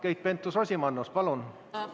Keit Pentus-Rosimannus, palun!